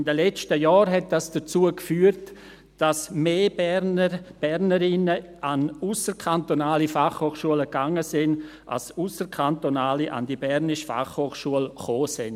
In den letzten Jahren führte dies dazu, dass mehr Berner, Bernerinnen an ausserkantonale Fachhochschulen gingen als Ausserkantonale an die BFH kamen.